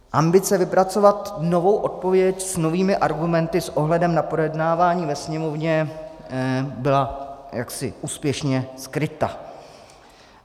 Ambice vypracovat novou odpověď s novými argumenty s ohledem na projednávání ve Sněmovně byla jaksi úspěšně skryta.